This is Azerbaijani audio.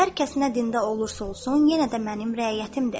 Hər kəs nə dində olursa olsun, yenə də mənim rəiyyətimdir.